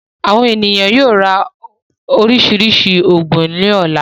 Àwọn ènìyàn yóò ra oríṣiríṣi òògùn lọ́la.